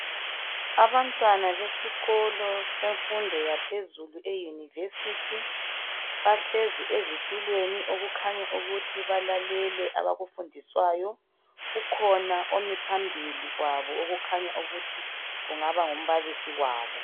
Abantwana besikolo semfundo yaphezulu e University bahlezi ezitulweni okukhanya ukuthi balalele abakufundiswayo ,kukhona omi phambili kwabo okukhanya ukuthi kungaba ngumbalisi wabo.